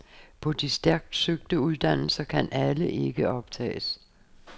På de stærkt søgte uddannelser kan alle ikke optages.